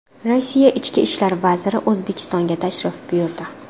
Rossiya ichki ishlar vaziri O‘zbekistonga tashrif buyurdi.